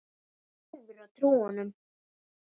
Hún verður að trúa honum.